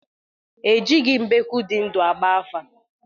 Ejighị mbekwu di ndu agba afa